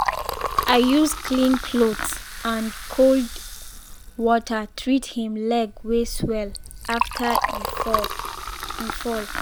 i use clean cloth and cold water treat him leg wey swell after e fall. e fall.